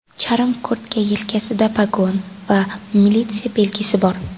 Charm kurtka yelkasida pogon va militsiya belgisi bor.